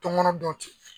Tɔn kɔnɔ dɔn ten